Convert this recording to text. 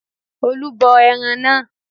Olú bọ ẹran náà